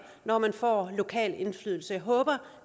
når man får en lokal indflydelse jeg håber